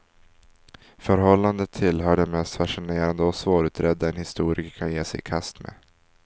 Förhållandet tillhör det mest fascinerande och svårutredda en historiker kan ge sig i kast med.